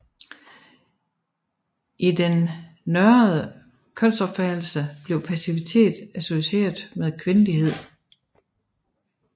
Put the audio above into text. I den norrøne kønsopfattelse blev passivitet associeret med kvindelighed